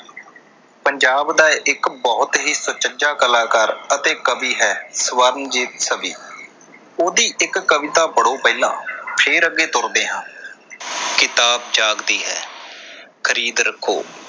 ਪੰਜਾਬ ਦਾ ਇੱਕ ਬਹੁਤ ਹੀ ਸੁਚੱਜਾ ਕਲਾਕਾਰ ਅਤੇ ਕਵੀ ਹੈ ਸਵਰਨਜੀਤ ਸਵੀ। ਉਹਦੀ ਇੱਕ ਕਵਿਤਾ ਪੜ੍ਹੋ ਪਹਿਲਾਂ। ਫੇਰ ਅੱਗੇ ਤੁਰਦੇ ਹਾਂ। ਕਿਤਾਬ ਜਾਗਦੀ ਹੈ, ਖਰੀਦ ਰੱਖੋ।